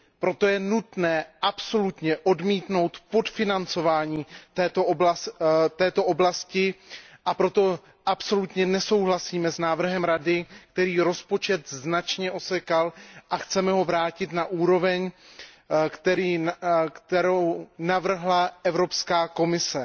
Proto je nutné odmítnout podfinancování této oblasti, a proto absolutně nesouhlasíme s návrhem Rady, který rozpočet značně osekal a chceme ho vrátit na úroveň, kterou navrhla Evropská komise.